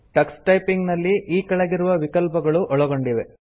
Tux typing ನಲ್ಲಿ ಈ ಕೆಳಗಿರುವ ವಿಕಲ್ಪಗಳು ಒಳಗೊಂಡಿವೆ